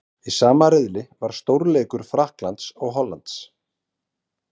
Í sama riðli var stórleikur Frakklands og Hollands.